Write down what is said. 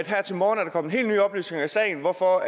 her til morgen er kommet helt nye oplysninger i sagen hvorfor